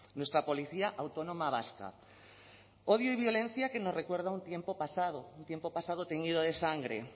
nuestra policía autónoma vasca odio y violencia que nos recuerda a un tiempo pasado un tiempo pasado teñido de sangre